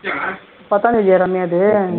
பத்தாம் தேதியா ரம்யாவுது